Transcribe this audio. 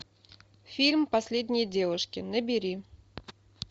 фильм последние девушки набери